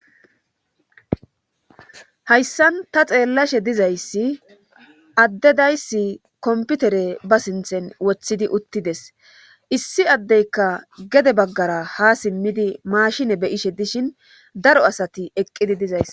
hayssan ta xeellashe dizayssi addedaysi komputere ba sinthen wothidi uttides issi addeyka gede baggara ha simmidi maashine beyishe dishin daro asati eqqidi dizays